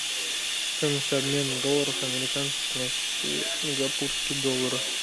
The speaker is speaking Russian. стоимость обмена долларов американских на сингапурский доллар